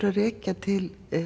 að rekja til